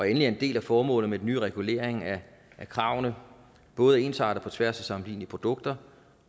er en del af formålet med den nye regulering af kravene både at ensarte på tværs af sammenlignelige produkter